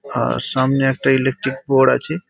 আর সামনে একটা electric board আছে-এ।